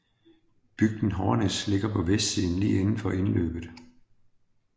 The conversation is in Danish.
Bygden Hårnes ligger på vestsiden lige indenfor indløbet